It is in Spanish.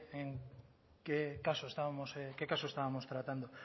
qué caso estábamos tratando